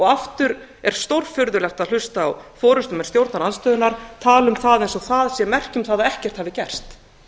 aftur er stórfurðulegt að hlusta á forustumenn stjórnarandstöðunnar tala um það eins og það sé merki um það að ekkert hafi gerst